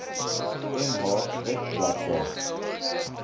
mh web bladsy